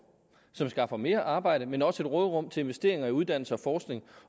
som skaffer mere arbejde men også et råderum til investeringer i uddannelse og forskning